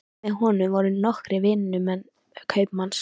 Með honum voru nokkrir vinnumenn kaupmanns.